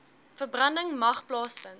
verbranding mag plaasvind